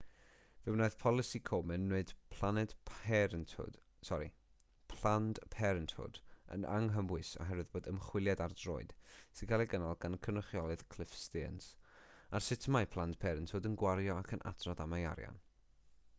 fe wnaeth polisi komen wneud planned parenthood yn anghymwys oherwydd bod ymchwiliad ar droed sy'n cael ei gynnal gan y cynrychiolydd cliff stearns ar sut mae planned parenthood yn gwario ac yn adrodd am ei arian